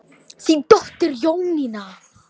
Þín dóttir Jónína.